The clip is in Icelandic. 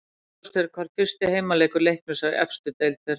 Óljóst er hvar fyrsti heimaleikur Leiknis í efstu deild fer fram.